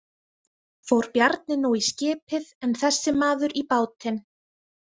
Fór Bjarni nú í skipið en þessi maður í bátinn.